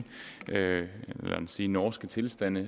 man kan sige norske tilstande